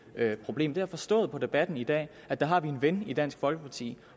problem jeg har forstået på debatten i dag at der har vi en ven i dansk folkeparti